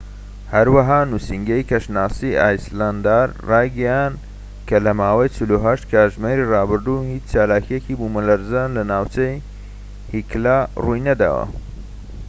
هەروەها نوسینگەی کەشناسی ئایسلەندارایگەیاند کە لە ماوەی 48 کاتژمێری ڕابردوودا هیچ چالاکییەکی بوومەلەرزە لە ناوچەی هیکلا ڕووینەداوە